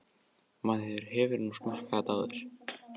Maður hefur nú smakkað það áður.